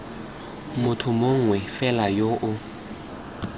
motho mongwe fela yo o